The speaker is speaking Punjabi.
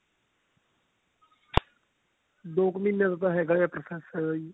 ਦੋ ਕ ਮਹੀਨਿਆਂ ਦਾ ਤਾਂ ਹੈਗਾ ਹੈ process